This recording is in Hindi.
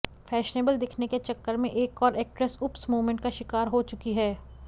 फैशनेबल दिखने के चक्कर में एक और एक्ट्रेस ऊप्स मूमेंट का शिकार हो चुकी हैं